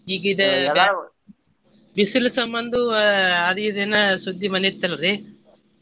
ಈಗ ಇದ್ ಬಿಸಲ್ ಸಮ್ಮಂದು ಅಹ್ ಅದ್ ಇದ್ ಏನಾ ಸುದ್ದಿ ಬಂದಿತ್ತಲ್ರಿ?